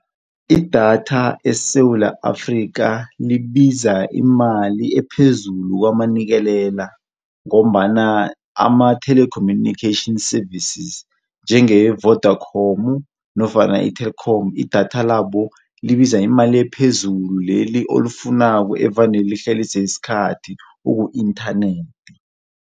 Idatha eSewula Afrika libiza imali ephezulu kwamanikelela ngombana ama-telecommunication services njengeye-Vodakhomu nofana i-thelkhomu idatha labo libiza imali ephezulu leli olifunako evane lihlalise isikhathi uku-inthanethi.